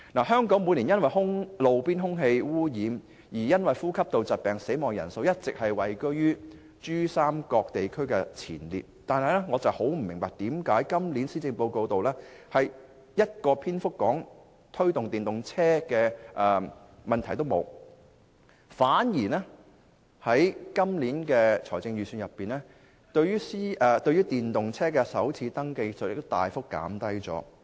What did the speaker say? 香港每年因路邊空氣污染而死亡的人數，一直位居於珠三角地區前列，但我不明白為何今年施政報告毫無篇幅提到推動電動車，反而在 2017-2018 年度的財政預算案中，也有大幅減低電動車首次登記稅。